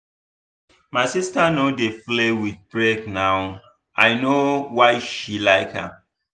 my sister no dey play with break now i know why she like am.